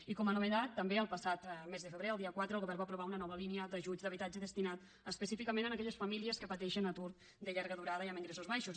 i com a novetat també el passat mes de febrer el dia quatre el govern va aprovar una nova línia d’ajuts d’habitatge destinada específicament a aquelles famílies que pateixen atur de llarga durada i amb ingressos baixos